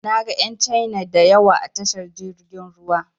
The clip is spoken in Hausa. Na ga ƴan Caina da yawa a tashar jirgin ruwa.